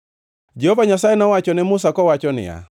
Jehova Nyasaye nowacho ne Musa kowacho niya,